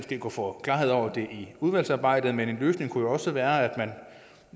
kunne få klarhed over det udvalgsarbejdet men en løsning kunne jo også være at man